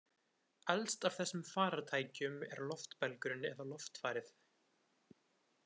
Elst af þessum farartækjum er loftbelgurinn eða loftfarið.